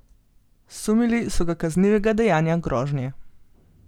Sumili so ga kaznivega dejanje grožnje.